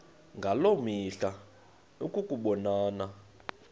ngaloo mihla ukubonana